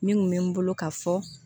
Min kun bɛ n bolo ka fɔ